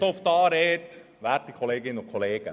Ich erteile das Wort dem Antragsteller.